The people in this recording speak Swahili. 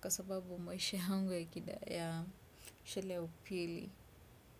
kwa sababu maisha yangu ya kida ya shule upili,